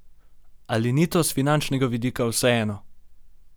Ali ni to s finančnega vidika vseeno?